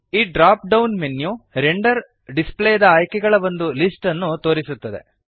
ಈ drop down menu render ಡಿಸ್ಪ್ಲೇದ ಆಯ್ಕೆಗಳ ಒಂದು ಲಿಸ್ಟ್ ಅನ್ನು ತೋರಿಸುತ್ತದೆ